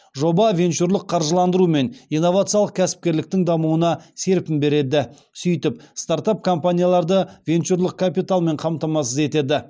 жоба венчурлық қаржыландыру мен инновациялық кәсіпкерліктің дамуына серпін береді сөйтіп стартап компанияларды венчурлық капиталмен қамтамасыз етеді